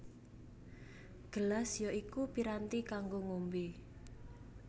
Gelas ya iku piranti kanggo ngombé